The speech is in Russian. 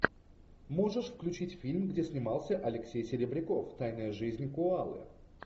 можешь включить фильм где снимался алексей серебряков тайная жизнь коалы